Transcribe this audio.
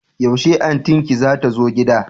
Yaushe antin ki zata zo gida?